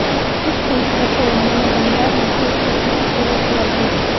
इस पोस्टर को उन्होंने दमदार मैसेज के साथ शेयर किया है